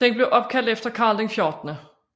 Den er opkaldt efter Karl 14